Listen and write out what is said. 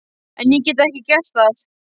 En ég get ekki gert það.